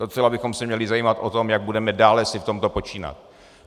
Docela bychom se měli zajímat o to, jak budeme dále si v tomto počínat.